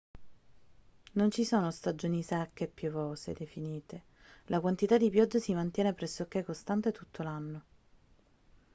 non ci sono stagioni secche e piovose definite la quantità di pioggia si mantiene pressoché costante tutto l'anno